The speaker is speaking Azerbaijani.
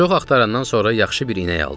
Çox axtarandan sonra yaxşı bir inək aldıq.